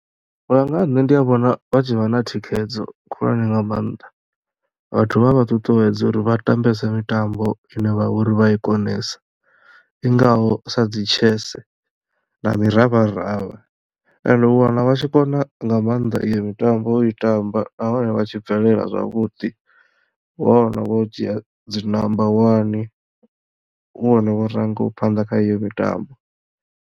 U ya nga ha nṋe ndi ya vhona vha tshi vha na thikhedzo khulwane nga maanḓa vhathu vha vha ṱuṱuwedza uri vha tambese mitambo ine vhavha uri vha ya i konesa i ngaho sa dzi tshese na miravharavha and u wana vha tshi kona nga mannḓa iyo mitambo i tamba nahone vha tshi bvelela zwavhuḓi wa wana vho dzhia dzi namba wani hu vhone vho rangaho phanḓa kha iyo mitambo.